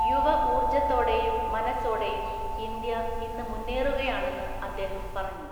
യുവ ഊര്‍ജ്ജത്തോടെയും മനസ്സോടെയും ഇന്ത്യ ഇന്ന് മുന്നേറുകയാണെന്ന് അദ്ദേഹം പറഞ്ഞു.